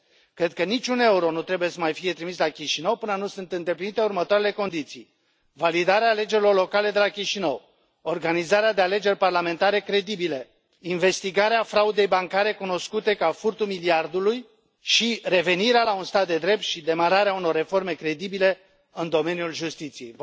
Cred că niciun euro nu trebuie să mai fie trimis la Chișinău, până nu sunt îndeplinite următoarele condiții validarea alegerilor locale de la Chișinău, organizarea de alegeri parlamentare credibile, investigarea fraudei bancare cunoscute ca furtul miliardului și revenirea la un stat de drept și demararea unor reforme credibile în domeniul justiției.